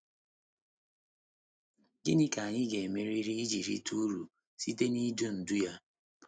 Gịnị ka anyị ga-emeriri iji rite uru site n’idu ndú ya?